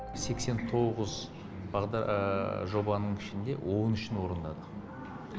сексен тоғыз жобаның ішінде он үшін орындадық